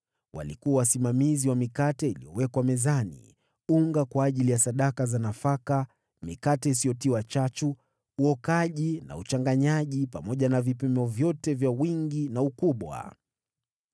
Walikuwa wasimamizi wa mikate iliyowekwa mezani, unga kwa ajili ya sadaka za nafaka, mikate isiyotiwa chachu, uokaji na uchanganyaji, pamoja na vipimo vyote vya wingi na ukubwa.